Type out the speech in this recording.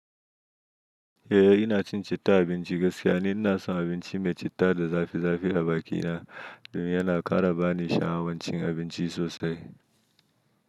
Eh ina cin citta abinci gaskiya ne. Ina son abinci mai citta da zafi zafi a bakina domin yana ƙara bani sha'awar cin abinci sosai.